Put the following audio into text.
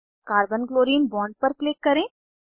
carbon chlorine bond पर click करें